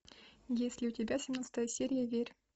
есть ли у тебя семнадцатая серия верь